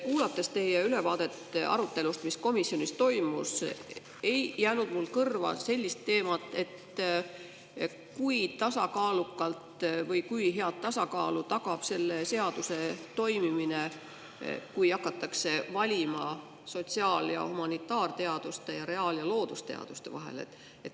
Kuulates teie ülevaadet arutelust, mis komisjonis toimus, ei jäänud mulle kõrva sellist teemat, et kui hea tasakaalu tagab see seadus, kui hakatakse valima sotsiaal‑ ja humanitaarteaduste ning reaal‑ ja loodusteaduste vahel.